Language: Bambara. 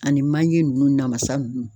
Ani manje nunnu namasa nunnu.